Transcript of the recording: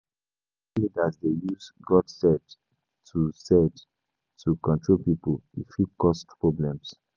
Some spiritual leaders dey use “God said” to said” to control pipo; e fit cause problems.